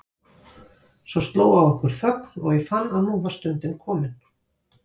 Svo sló á okkur þögn og ég fann að nú var stundin komin.